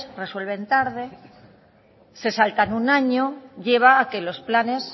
resuelven tarde se saltan un año lleva a que los planes